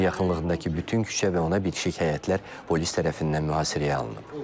Binanın yaxınlığındakı bütün küçə və ona bitişik həyətlər polis tərəfindən mühasirəyə alınıb.